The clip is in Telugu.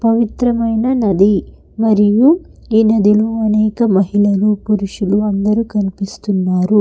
పవిత్రమైన నది మరియు ఎనుదిను అనేక మహిళలు పురుషులు అందరూ కనిపిస్తున్నారు.